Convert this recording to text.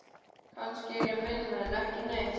Kannski er ég minna en ekki neitt.